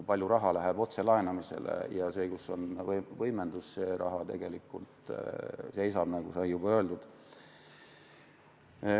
Palju raha läheb otselaenamiseks ja seal, kus on võimendus, see raha tegelikult seisab, nagu sai juba öeldud.